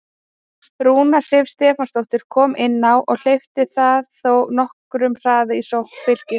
Rúna Sif Stefánsdóttir kom inn á og hleypti það þó nokkrum hraða í sókn Fylkis.